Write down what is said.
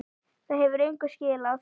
Það hefur engu skilað.